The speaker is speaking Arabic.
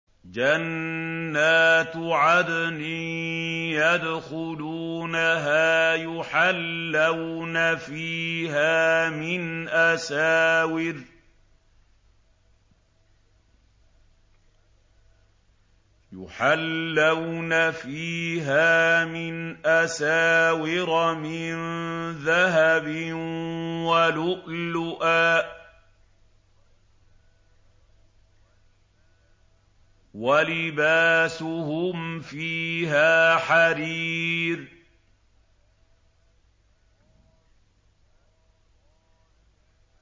جَنَّاتُ عَدْنٍ يَدْخُلُونَهَا يُحَلَّوْنَ فِيهَا مِنْ أَسَاوِرَ مِن ذَهَبٍ وَلُؤْلُؤًا ۖ وَلِبَاسُهُمْ فِيهَا حَرِيرٌ